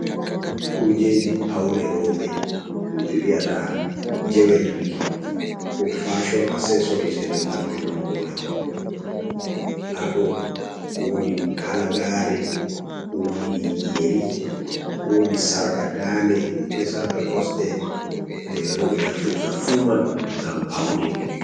Kujeji paune rooɓe, himɓe wi'ata jewelri, ko fashon asesorit e ɗemngal turankore. Haa ɗo woodi halagaare, woodi yeri, woodi sarƙa dande, be sarƙa kosɗe je rewɓe naftirta fuu man ngam paune.